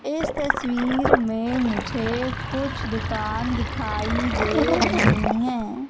इस तस्वीर में मुझे कुछ दुकान दिखाई दे रहीं हैं।